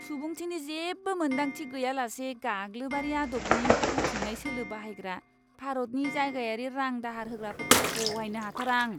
सुबुंथिनि जेबो मोनदांथि गैयालासे गाग्लोबारि आदबनि बुथुमनाय सोलो बाहायग्रा भारतनि जायगायारि रां दाहार होग्राफोरखौ सहायनो हाथारा आं।